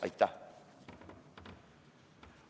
Aitäh!